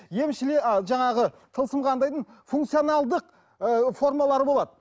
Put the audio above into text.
а жаңағы тылсым қандайдың функцияналдық ыыы формалары болады